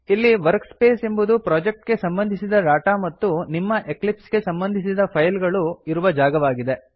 ಇಲ್ಲಿ ವರ್ಕ್ಸ್ಪೇಸ್ ಎಂಬುದು ಪ್ರೊಜೆಕ್ಟ್ ಗೆ ಸಂಬಂಧಿಸಿದ ಡಾಟಾ ಮತ್ತು ನಿಮ್ಮ ಎಕ್ಲಿಪ್ಸ್ ಗೆ ಸಂಬಂಧಿಸಿದ ಫೈಲ್ ಗಳು ಇರುವ ಜಾಗವಾಗಿದೆ